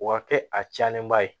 O ka kɛ a cɛnnen ba ye